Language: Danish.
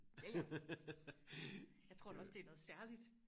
ja ja jeg tror da også det er noget særligt